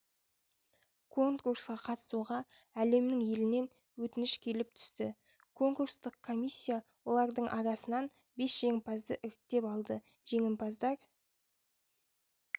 конкурсқа қатысуға әлемнің елінен өтініш келіп түсті конкурстық комиссия олардың арасынан бес жеңімпазды іріктеп алды жеңімпаздар